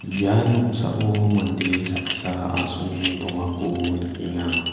ia noksao mande saksa asonge dongako nikenga.